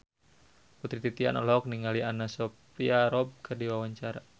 Putri Titian olohok ningali Anna Sophia Robb keur diwawancara